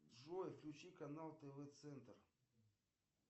джой включи канал тв центр